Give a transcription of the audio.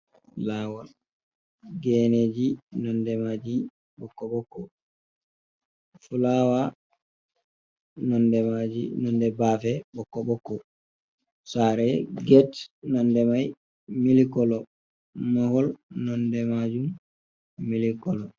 Lawol geneji nonde maji bokko-bokko, flawa nonde maji nonde bafe bokko-bokko, sare gete nonde mai millikolo, mahol nonde majum millicolo.